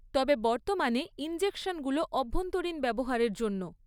তবে, বর্তমানে ইনজেকশনগুলো অভ্যন্তরীণ ব্যবহারের জন্য।